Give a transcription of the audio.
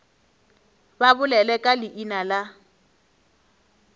ba bolele ka leina la